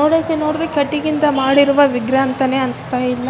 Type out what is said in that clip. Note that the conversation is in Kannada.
ನೋಡೋಕೆ ನೋಡಿದ್ರೆ ಕಟ್ಟಿಗೆಯಿಂದ ಮಾಡಿರುವ ವಿಗ್ರಹ ಅಂತ ಅನ್ನಿಸ್ತಾಯಿಲ್ಲ